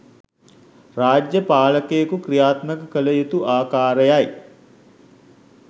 රාජ්‍ය පාලකයෙකු ක්‍රියාත්මක කළ යුතු ආකාරයයි.